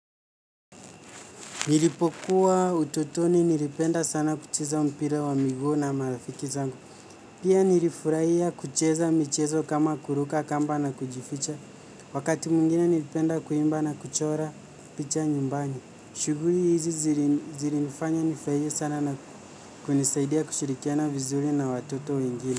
Nilipokuwa utotoni nilipenda sana kucheza mpira wa miguu na marafiki zangu. Pia nilifurahia kucheza michezo kama kuruka kamba na kujificha. Wakati mwingine nilipenda kuimba na kuchora picha nyumbani. Shuguli hizi zilinifanya nifurahie sana na kunisaidia kushirikiana vizuri na watoto wengine.